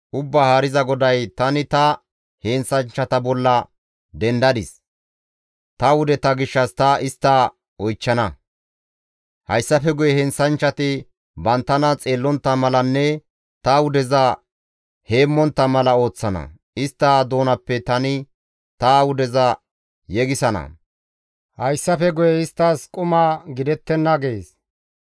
Ubbaa Haariza GODAY, ‹Tani ta heenththanchchata bolla dendadis; ta wudeta gishshas ta istta oychchana; hayssafe guye heenththanchchati banttana xeellontta malanne ta wudeza heemmontta mala ooththana; istta doonappe tani ta wudeza yegisana. Hayssafe guye isttas quma gidettenna› gees.